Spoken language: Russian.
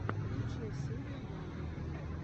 лучшая серия лада